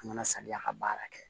An kana saniya ka baara kɛ